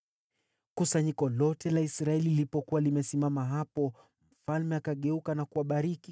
Kusanyiko lote la Israeli lilipokuwa limesimama hapo, mfalme akageuka na kuwabariki.